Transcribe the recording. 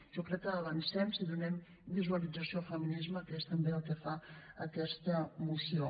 jo crec que avancem si donem visualització al feminisme que és també el que fa aquesta moció